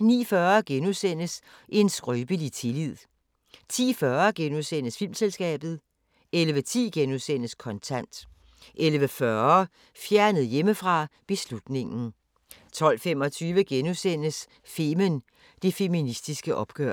09:40: En skrøbelig tillid * 10:40: Filmselskabet * 11:10: Kontant * 11:40: Fjernet hjemmefra: Beslutningen 12:25: Femen: Det feministiske oprør *